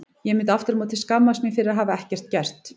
Ég myndi aftur á móti skammast mín fyrir að hafa ekkert gert.